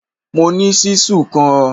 Mo ní ṣíṣù kan